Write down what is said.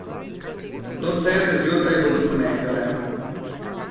Do srede zjutraj bodo ponehale.